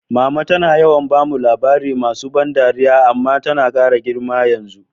Mama tana yawan bamu labari masu ban dariya, amma tana kara girma yanzu.